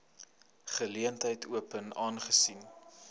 geleentheid open aangesien